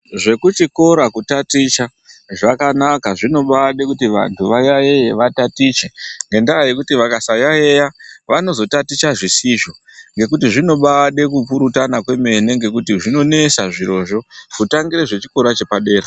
Zvekuchikora kutaticha zvakanaka zvinombaade kuti antu vayaiye vatatiche ngendaa nyekuti vakasayaiya vanozotaticha zvisizvo ngekuti zvinobaade kupurutana kwemene ngekuti zvinonesa zvirozvo kutangire zvechikora chepadera.